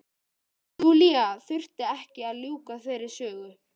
Júlía þurfti ekki að ljúka þeirri sögu.